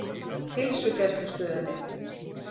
Heilsugæslustöðinni